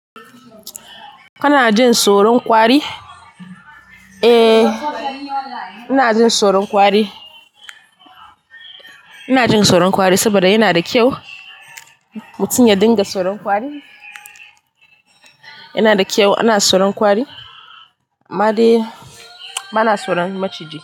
Kana jin soron kwari? Eh, ina jin soron ƙwari. Ina jin soron ƙwari saboda yana da kyau. Mutum ya dinga soron kwari. Yana da kyau ana soron kwari. Amma dai ba na tsoron maciji.